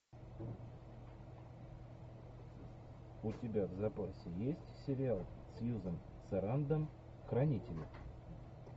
у тебя в запасе есть сериал сьюзен сарандон хранители